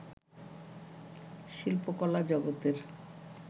শিল্পকলা জগতের